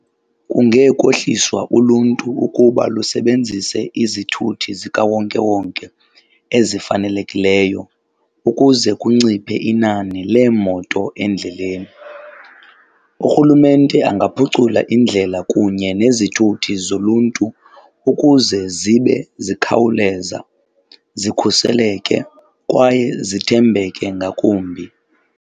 Kunge kohliswa uluntu ukuba lusebenzise izithuthi zikawonkewonke ezifanelekileyo ukuze kunciphe inani leemoto endleleni. Urhulumente angaphucula iindlela kunye nezithuthi zoluntu ukuze zibe zikhawuleza, zikhuseleke kwaye zithembeke ngakumbi.